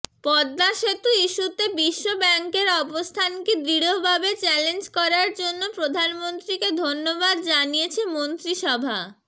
পদ্মা সেতু ইস্যুতে বিশ্ব ব্যাংকের অবস্থানকে দৃঢ়ভাবে চ্যালেঞ্জ করার জন্য প্রধানমন্ত্রীকে ধন্যবাদ জানিয়েছে মন্ত্রিসভা